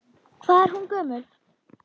Hvað er hún gömul?